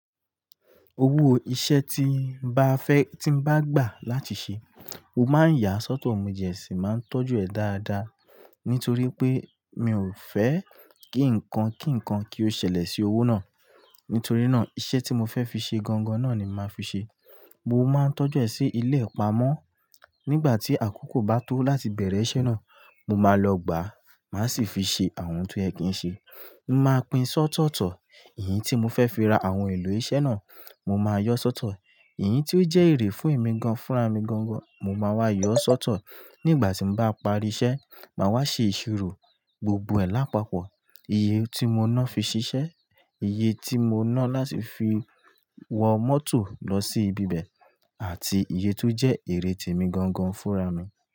Owó iṣẹ́ tí n bá fẹ́ tí bá gbà láti ṣe, mo máa yà á sọ́tọ̀, mo jẹ̀ síi, máa ń tọ́jú ẹ̀ dáadáa nítorí pé mi ò fẹ́ kí ǹkan kí ǹkan kí ó ṣẹlẹ̀ sí owó náà. Nítorí náà iṣẹ́ tí mo fẹ́ fi ṣe gangan náà ni màá fi ṣe. Mo máa ń tọ́jú ẹ sí ilé ìpamọ́. Nígbà tí àkókò bá tó láti bẹ̀rẹ̀ iṣẹ́ náà, mo máa lọ gbà á, màá sì fi ṣe àwọn oun to yẹ kìí ṣe. Mo máa pín ṣótọ̀tọ̀ èyín tí mo fẹ́ fi ra àwọn ohun èlò iṣẹ́ náà, mo máa yọ sọ́tọ̀. Èyí tí ó jẹ́ èrè fún èmi gan-an fúnra mi gangan, mo máa wá yọ ọ́ sọ́tọ̀. Nígbà tí n bá parí iṣẹ́, màá wá ṣe ìṣirò gbogbo ẹ̀ lápapọ̀. Iye tí mo ná fi ṣiṣẹ́, iye tí mo ná láti fi wọ mọ́tò lọ sí ibi bẹ̀, àti iye tó jẹ́ èrè témi gangan fúnra mi.